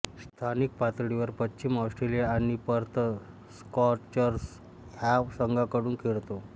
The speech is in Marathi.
स्थानिक पातळीवर पश्चिम ऑस्ट्रेलिया आणि पर्थ स्कॉर्चर्स ह्या संघांकडून खेळतो